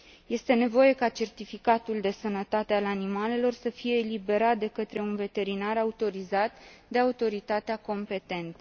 Este nevoie ca certificatul de sănătate al animalelor să fie eliberat de către un veterinar autorizat de autoritatea competentă.